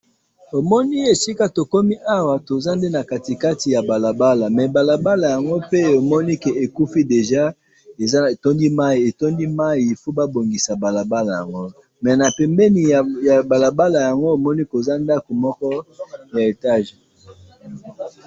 Omoni esika tokomi awa toza nde na katikati ya balabala mais balabala yango pe omoni que ekufi déjà, etondi mayi etondi mayi , il faut ba bongisa balabala yango mais na pembeni na balabala yango omoni koza ndaku moko ya étage